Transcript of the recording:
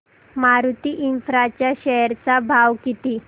Maruti Infra च्या share चा भाव किती